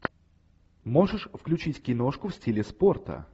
можешь включить киношку в стиле спорта